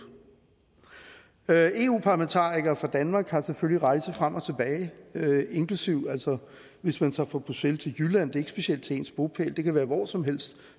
eu parlamentarikere fra danmark har selvfølgelig rejsen frem og tilbage inklusive hvis man tager fra bruxelles til jylland det er ikke specielt til ens bopæl det kan være hvor som helst